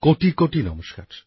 কোটি কোটি নমস্কার